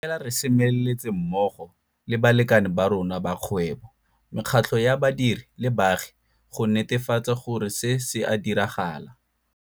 Fela re semeletse mmogo le balekane ba rona ba kgwebo, mekgatlo ya badiri le baagi go netefatsa gore se se a diragala.